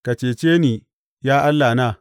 Ka cece ni, ya Allahna!